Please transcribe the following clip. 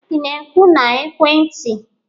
ị na-ekwu na ekwentị?